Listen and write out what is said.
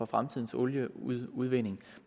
fremtidens olieudvinding